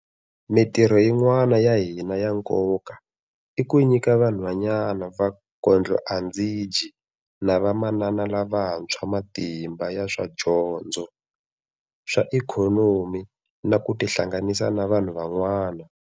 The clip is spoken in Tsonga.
Mitirho yin'wana ya hina ya nkoka i ku nyika vanhwanyana va kondlo-a-ndzi-dyi na vamanana lavantshwa matimba ya swa dyondzo, swa ikhonomi na ku tihlanganisa na vanhu van'wana.